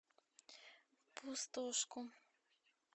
пустошку